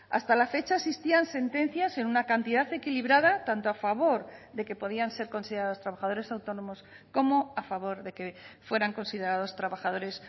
hasta la fecha existían sentencias en una cantidad equilibrada tanto a favor de que podían ser considerados trabajadores autónomos como a favor de que fueran considerados trabajadores